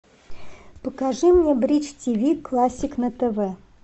покажи мне бридж тиви классик на тв